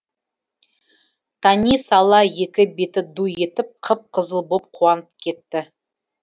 тани сала екі беті ду етіп қып қызыл боп қуанып кетті